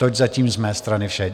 To je zatím z mé strany vše.